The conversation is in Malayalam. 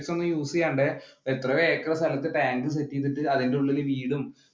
ഒന്നും use ചെയ്യാണ്ട് എത്രയോ acre സ്ഥലത്ത് tank set ചെയ്തിട്ട് അതിന്റെ ഉള്ളിൽ വീടും